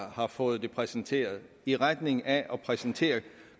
har fået det præsenteret i retning af at præsentere